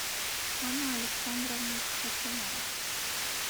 анна александровна хотинова